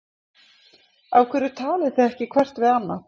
Af hverju talið þið ekki hvert við annað?